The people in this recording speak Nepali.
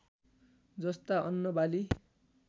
जस्ता अन्न बाली